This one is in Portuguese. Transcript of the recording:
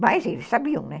Mas eles sabiam, né?